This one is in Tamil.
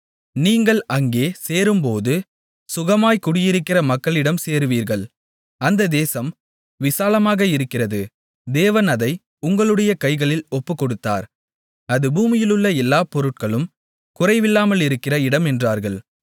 நீங்கள் அங்கே சேரும்போது சுகமாய்க் குடியிருக்கிற மக்களிடம் சேருவீர்கள் அந்த தேசம் விசாலமாக இருக்கிறது தேவன் அதை உங்களுடைய கைகளில் ஒப்புக்கொடுத்தார் அது பூமியிலுள்ள எல்லாப் பொருட்களும் குறைவில்லாமலிருக்கிற இடம் என்றார்கள்